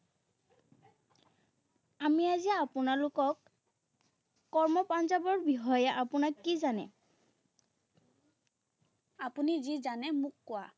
আমি আজি আপোনালোকক, কৰ্ম পাঞ্জাৱৰ বিষয়ে আপোনাক কি জানে? আপুনি যি জানে মোক কোৱা।